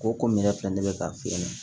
Ko komi yɛrɛ filɛ ne bɛ ka fiyɛli